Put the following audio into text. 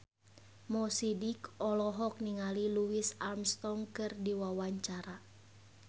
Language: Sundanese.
Mo Sidik olohok ningali Louis Armstrong keur diwawancara